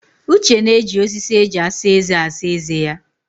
Uche na-eji osisi eji asa eze asa eze ya.